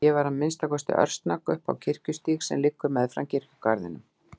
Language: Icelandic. Ég var að minnsta kosti örsnögg upp á Kirkjugarðsstíg sem liggur meðfram kirkjugarðinum.